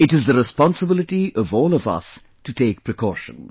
It is the responsibility of all of us to take precautions